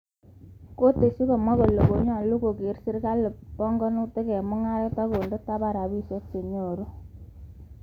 Kiteschi komwa Kanyalu kole kogere panganutil serkalit eng mungaret, kende tapan rabisirk ak chenyoru.